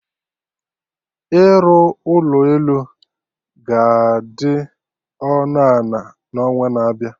Ịrụ ụlọ elu ga-adị ọnụ ana na onwa na-abịa